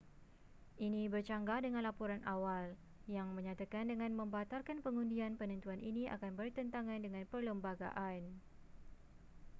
ini bercanggah dengan laporan awal yang menyatakan dengan membatalkan pengundian penentuan ini akan bertentangan dengan perlembagaan